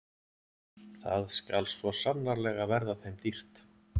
Það skal svo sannarlega verða þeim dýrt!